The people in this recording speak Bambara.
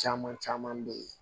Caman caman be ye